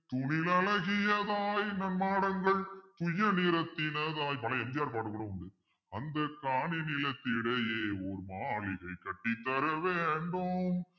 தூணில் அழகியதாய் நன்மாடங்கள் துய்ய நிறத்தினதாய் பழைய MGR பாட்டு கூட உண்டு அந்த காணி நிலத்திடையே ஒரு மாளிகை கட்டித் தர வேண்டும்